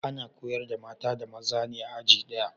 Ana koyar da mata da maza ne a aji daya